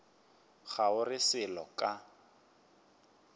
ga o re selo ka